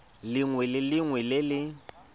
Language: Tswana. lengwe le lengwe le le